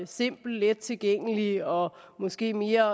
simpel let tilgængelig og måske mere